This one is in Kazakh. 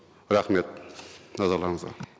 рахмет назарларыңызға